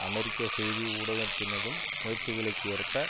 அமெரிக்க செய்தி ஊடகத்தினதும் முயற்சிகளுக்கு ஏற்ப